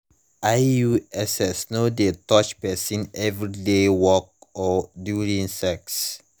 iuss no de touch person everyday work or during sex